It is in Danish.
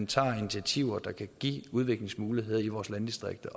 tager initiativer der kan give udviklingsmuligheder i vores landdistrikter